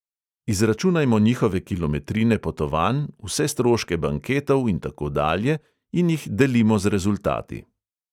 Izračunajmo njihove kilometrine potovanj, vse stroške banketov in tako dalje in jih delimo z rezultati.